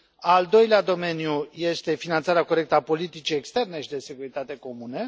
al doilea domeniu este finanțarea corectă a politicii externe și de securitate comună